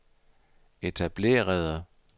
etablerede